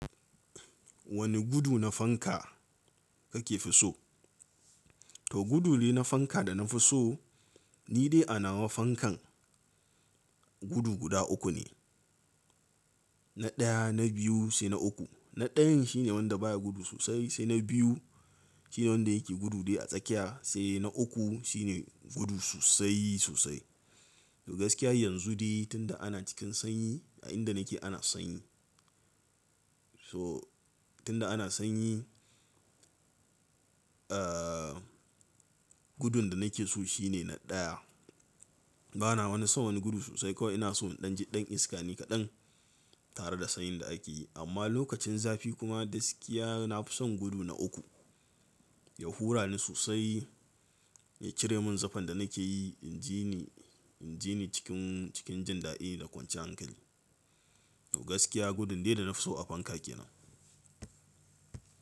Wane gudu na fanka kake fi so? To gudule na fanka da na fi so ni dai a nawa fankan gudu guda uku ne. Na ɗaya, na biyu sai na uku. Na ɗayan shine wanda baya gudu sosai, sai na biyu shine wanda yake gudu dai a tsakiya, sai na uku shine gudu sosai sosai. To gaskiya yanzu dai tunda ana cikin sanyi, a inda nake ana sanyi. So tunda ana sanyi, eh gudun da nake so shine na ɗaya. Bana ma son wani gudu sosai kawai ina so in ɗan ji ɗan iska ni kaɗan tare da sanyin da ake yi. Amma lokacin zafi kuma gaskiya na fi son gudu na uku. Ya hura ni sosai, ya cire mun zafin da nake yi, in ji ni, in ji ni cikin, cikin jin daɗi da kwanciyar hankali. To gaskiya gudun dai da na fi so a fanka kenan.